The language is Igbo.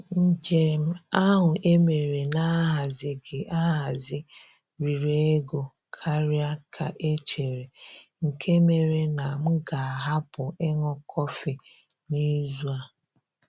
Njem ahụ e mere na-ahazighị ahazi riri ego karịa ka e chere, nke mere na m ga-ahapụ ịṅụ kọfị n'izu a.